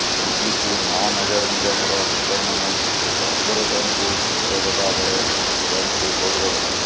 ଏଣିକି ମହାନଗର ନିଗମର ଭୋଟରମାନେ କର୍ପୋରେଟରଙ୍କୁ ଭେଟ ଦେବା ବେଳେ ମେୟରଙ୍କୁ ଭୋଟ ଦେବେ